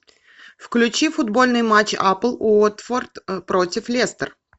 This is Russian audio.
фвключи футбольный матч апл уотфорд против лестер